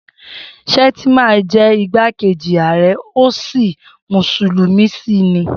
Shettima jẹ́ igbákejì ààrẹ ó sì mùsùlùmí sì ni.